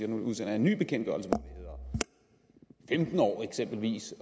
udsender en ny bekendtgørelse hvor det eksempelvis